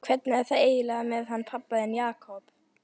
Hvernig er það eiginlega með hann pabba þinn, Jakob?